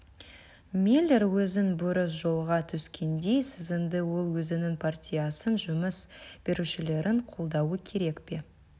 миллер өзін бұрыс жолға түскендей сезінді ол өзінің партиясын жұмыс берушілерін қолдауы керек пе